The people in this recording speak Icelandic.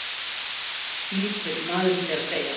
flýtir maðurinn sér að segja.